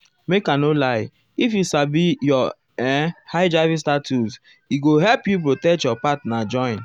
make i no lie if you sabi your[um]hiv status e go help you protect your partner join.